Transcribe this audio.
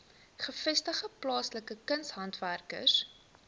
gevestigde plaaslike kunshandwerkers